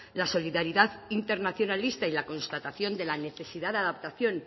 la solidaridad internacionalista y la constatación de la necesidad de adaptación